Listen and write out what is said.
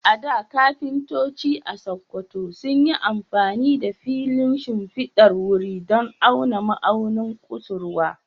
A da, kafintoci a Sakkwato sun yi amfani da filin shimfidar wuri don auna ma'aunin kusurwa.